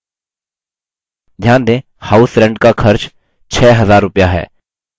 ध्यान दें house rent का खर्च 6000 रुपया है